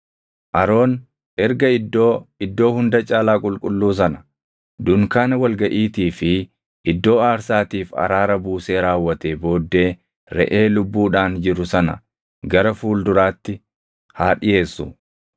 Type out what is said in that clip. “Aroon erga Iddoo Iddoo Hunda Caalaa Qulqulluu sana, dunkaana wal gaʼiitii fi iddoo aarsaatiif araara buusee raawwatee booddee reʼee lubbuudhaan jiru sana gara fuulduraatti haa dhiʼeessu.